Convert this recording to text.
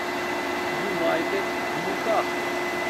юнайтед ньюкасл